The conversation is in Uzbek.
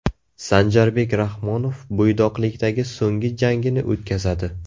Sanjarbek Rahmonov bo‘ydoqlikdagi so‘nggi jangini o‘tkazadi.